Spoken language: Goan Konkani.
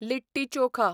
लिट्टी चोखा